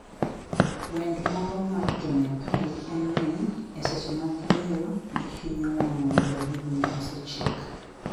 Wend moro mar Jo-Nepali en ni, e seche mag yueyo, gihinyo wang'o mzabibu ma osechiek.